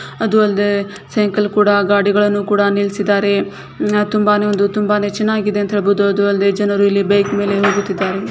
ಅದು ಅಲ್ದೆ ಸೈಕಲ್ ಕೂಡ ಗಾಡಿಗಳನ್ನು ಕೂಡ ನಿಲ್ಸಿದಾರೆ ಅಹ್ ತುಂಬಾನೆ ಒಂದು ತುಂಬಾನೆ ಚೆನ್ನಾಗಿದೆ ಅಂತ ಹೇಳ್ಬೋದು. ಅದು ಅಲ್ದೆ ಜನರು ಇಲ್ಲಿ ಬೈಕ್ ಮೇಲೆ ಹೋಗುತ್ತಿದಾರೆ.